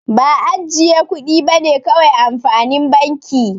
Ba ajjiye kudi bane kawai amfanin banki.